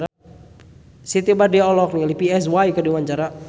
Siti Badriah olohok ningali Psy keur diwawancara